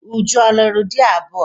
Uju a lụrụ di abụọ?